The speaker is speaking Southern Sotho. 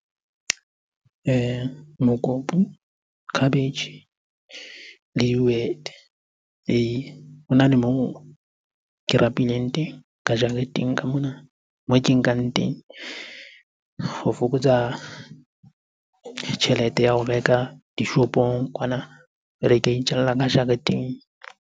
Mokopu, khabetjhe le dihwete, ee. Hona le moo ke rapileng teng ka jareteng ka mona, moo ke nkang teng ho fokotsa tjhelete ya ho reka dishopong kwana. Jwale, ke a itjalla ka jareteng.